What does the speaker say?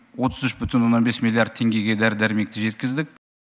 отыз үш бүтін оннан бес миллиард теңгеге дәрі дәрмекті жеткіздік